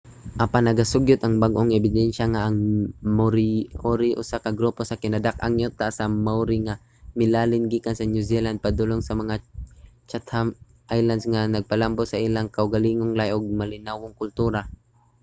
apan nagasugyot ang bag-ong ebidensya nga ang moriori usa ka grupo sa kinadak-ang yuta sa maori nga milalin gikan sa new zealand padulong sa mga chatham islands nga nagpalambo sa ilang kaugalingong lahi ug malinawong kultura